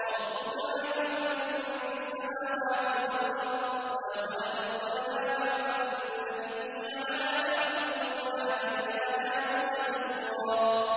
وَرَبُّكَ أَعْلَمُ بِمَن فِي السَّمَاوَاتِ وَالْأَرْضِ ۗ وَلَقَدْ فَضَّلْنَا بَعْضَ النَّبِيِّينَ عَلَىٰ بَعْضٍ ۖ وَآتَيْنَا دَاوُودَ زَبُورًا